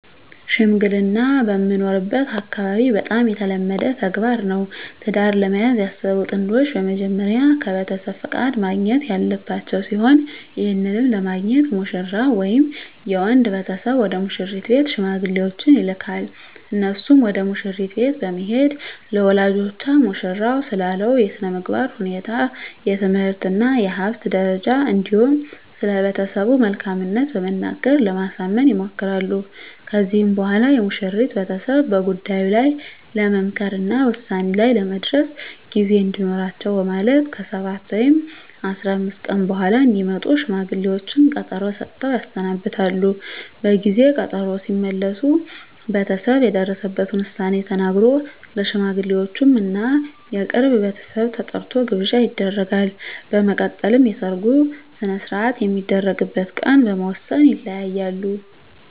ሽምግልና በምኖርበት አካባቢ በጣም የተለመደ ተግባር ነው። ትዳር ለመያዝ ያሰቡ ጥንዶች በመጀመሪያ ከቤተሰብ ፍቃድ ማግኘት ያለባቸው ሲሆን ይህንንም ለማግኘት ሙሽራው ወይም የወንድ ቤተሰብ ወደ ሙሽሪት ቤት ሽማግሌዎችን ይልካል። እነርሱም ወደ መሽሪት ቤት በመሄድ ለወላጆቿ ሙሽራው ስላለው የስነምግባር ሁኔታ፣ የትምህርት እና የሀብት ደረጃ እንዲሁም ስለቤተሰቡ መልካምት በመናገር ለማሳመን ይሞክራሉ። ከዚህም በኋላ የሙሽሪት ቤተሰብ በጉዳዩ ላይ ለመምከር እና ውሳኔ ላይ ለመድረስ ጊዜ እንዲኖራቸው በማለት ከ7 ወይም 15 ቀን በኃላ እንዲመጡ ሽማግሌዎቹን ቀጠሮ ሰጥተው ያሰናብታሉ። በጊዜ ቀጠሮው ሲመለሱ ቤተሰብ የደረሰበትን ዉሳኔ ተናግሮ፣ ለሽማግሌወቹም እና የቅርብ ቤተሰብ ተጠርቶ ግብዣ ይደረጋል። በመቀጠልም የሰርጉ ሰነሰርአት የሚደረግበት ቀን በመወስን ይለያያሉ።